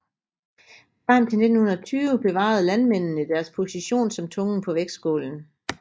Frem til 1920 bevarede landmændene deres position som tungen på vægtskålen